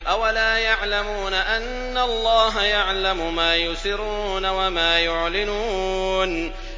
أَوَلَا يَعْلَمُونَ أَنَّ اللَّهَ يَعْلَمُ مَا يُسِرُّونَ وَمَا يُعْلِنُونَ